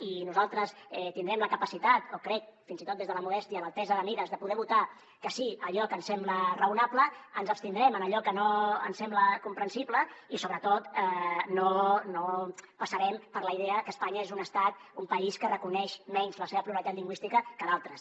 i nosaltres tindrem la capacitat o crec fins i tot des de la modèstia l’altesa de mires de poder votar que sí a allò que ens sembla raonable ens abstindrem en allò que no ens sembla comprensible i sobretot no passarem per la idea que espanya és un estat un país que reconeix menys la seva pluralitat lingüística que d’altres